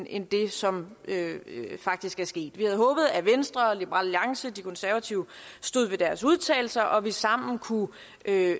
end det som faktisk er sket vi havde håbet at venstre liberal alliance og de konservative stod ved deres udtalelser og at vi sammen enten kunne